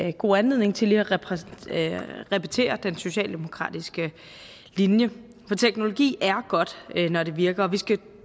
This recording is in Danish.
en god anledning til lige at repetere den socialdemokratiske linje teknologi er godt når den virker og vi skal